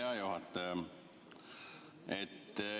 Hea juhataja!